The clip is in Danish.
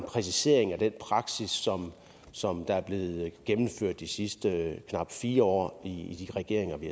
præcisering af den praksis som som der er blevet gennemført de sidste knap fire år i de regeringer vi